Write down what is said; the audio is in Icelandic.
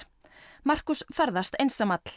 Markus ferðast einsamall